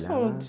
...